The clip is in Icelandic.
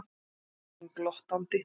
spyr hún glottandi.